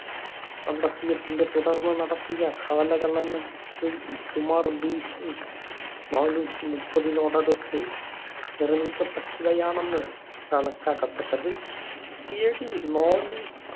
കണ്ടെത്തിയതിനെ തുടർന്നു നടത്തിയ കാലഗണന സുമാർ BC നാനൂറ്റി മുപ്പതിനോടടുത്ത് നിർമ്മിക്കപ്പെട്ടവയാണെന്ന് കണക്കാക്കപ്പെട്ടത്. AD നാനൂറ്റി